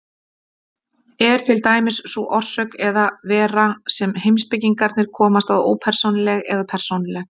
Er til dæmis sú orsök eða vera sem heimspekingarnir komast að ópersónuleg eða persónuleg?